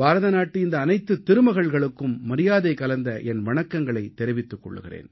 பாரதநாட்டு இந்த அனைத்துத் திருமகள்களுக்கும் மரியாதை கலந்த என் வணக்கங்களைத் தெரிவித்துக் கொள்கிறேன்